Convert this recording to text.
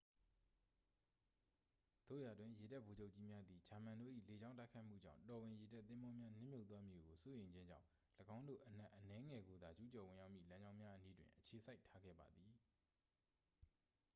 သို့ရာတွင် ရေတပ်ဗိုလ်ချုပ်ကြီးများသည် ဂျာမန်တို့၏လေကြောင်းတိုက်ခိုက်မှုကြောင့် တော်ဝင်ရေတပ်သင်္ဘောများ နစ်မြုပ်သွားမည်ကိုစိုးရိမ်ခြင်းကြောင့် ၎င်းတို့အနက်အနည်းငယ်ကိုသာ ကျူးကျော်ဝင်ရောက်မည့်လမ်းကြောင်းများအနီးတွင် အခြေစိုက်ထားခဲ့ပါသည်